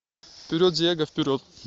вперед диего вперед